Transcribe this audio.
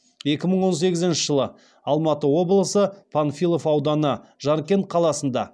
екі мың он сегізінші жылы алматы облысы панфилов ауданы жаркент қаласында